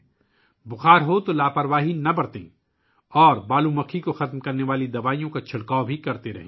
بخار ہو تو غفلت نہ برتیں اور ایسی ادویات کا چھڑکاؤ کرتے رہیں ، جو سینڈ فلائی کو مار دیتی ہیں